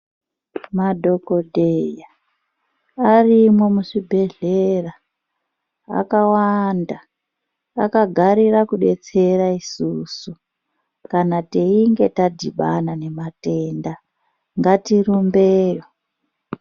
Madhokodheya arimwo muzvibhedhlera akawanda akagarira kudetsera isusu kana teinge tadhibana nematenda ngatirumbeyo.